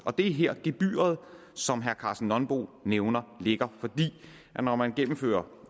og det er her gebyret som herre karsten nonbo nævner ligger for når man gennemfører